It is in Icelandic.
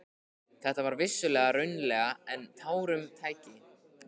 Þetta var vissulega raunalegra en tárum tæki.